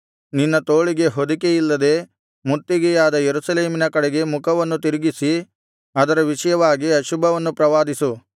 ನಿನ್ನ ತೋಳಿಗೆ ಹೊದಿಕೆಯಿಲ್ಲದೆ ಮುತ್ತಿಗೆಯಾದ ಯೆರೂಸಲೇಮಿನ ಕಡೆಗೆ ಮುಖವನ್ನು ತಿರುಗಿಸಿ ಅದರ ವಿಷಯವಾಗಿ ಅಶುಭವನ್ನು ಪ್ರವಾದಿಸು